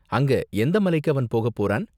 அங்க எந்த மலைக்கு அவன் போகப் போறான்?